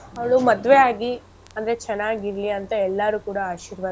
ಅವ್ಳು ಮದ್ವೆ ಆಗಿ ಅಂದ್ರೆ ಚೆನ್ನಾಗಿರ್ಲಿ ಅಂತ ಎಲ್ಲಾರು ಕೂಡ ಆಶೀರ್ವಾದ.